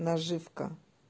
наживка